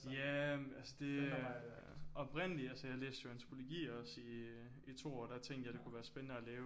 Ja altså det oprindeligt altså jeg læste jo antropologi også i to år der tænkte jeg det kunne være spændende at lave